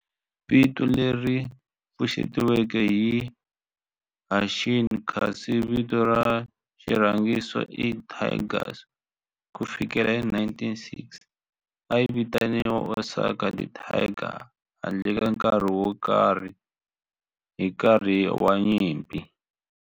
Vito leri pfuxetiweke i"Hanshin" kasi vito ra xirhangiso i"Tigers". Ku fikela hi 1960, a yi vitaniwa Osaka Tigers handle ka nkarhi wo karhi hi nkarhi wa nyimpi.